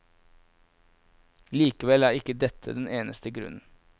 Likevel er ikke dette den eneste grunn.